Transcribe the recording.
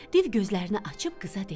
Div gözlərini açıb qıza dedi: